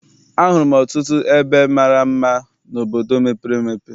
A hụrụ m ọtụtụ ebe mara mma n'obodo mepere emepe.